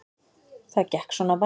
Það gekk svona bærilega